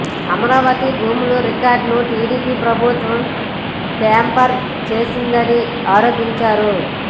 అమరావతి భూముల రికార్డులను టీడీపీ ప్రభుత్వం ట్యాంపర్ చేసిందని ఆరోపించారు